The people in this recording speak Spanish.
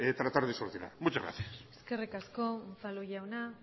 tratar de solucionar muchas gracias eskerrik asko unzalu jauna